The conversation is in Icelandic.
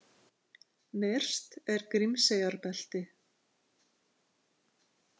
Nyrst er Grímseyjarbelti.